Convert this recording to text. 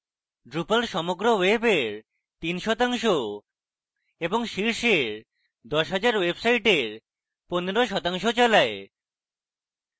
drupal সমগ্র ওয়েবের 3 শতাংশ এবং শীর্ষের দশ হাজার websites 15 শতাংশ চালায়